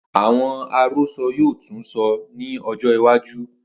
Awọn arosọ yoo tun sọ ni ọjọ iwaju.